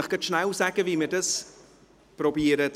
Ich sage Ihnen nun, wie wir dies vorzunehmen versuchen.